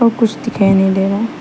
और कुछ दिखाई नहीं दे रहा है।